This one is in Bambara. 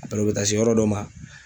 u bɛ taa se yɔrɔ dɔ ma.